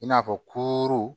I n'a fɔ kooro